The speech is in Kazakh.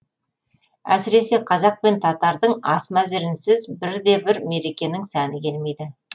әсіресе қазақ пен татардың ас мәзірінсіз бір де бір мерекенің сәні келмейді